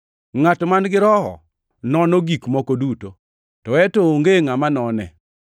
Ngʼat man-gi Roho nono gik moko duto, to en to onge ngʼama none.